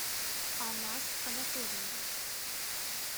анас анатольевич